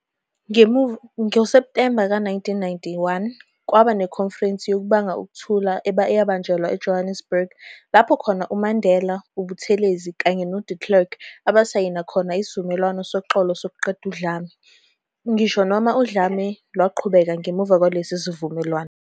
NgoSeptemba ka 1991, kwaba nekhonferense yokubanga ukuthula eyabanjelwa eJohannesburg, lapho khona uMandela, uButhelezi kanye no-de Klerk abasayhina khona isivumelwano soxolo sokuqeda udlame, ngisho noma udlame lwaqhubeka ngemuva kwalesi sivumelwano.